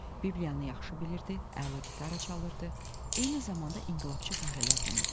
Bibliyanı yaxşı bilirdi, əla gitara çalırdı, eyni zamanda inqilabçı fəhlələrdən idi.